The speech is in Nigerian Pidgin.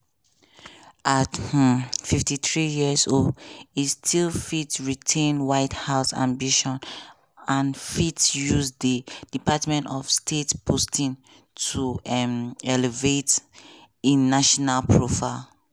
at um 53 years old e still fit retain white house ambitions and fit use di department of state posting to um elevate im national profile.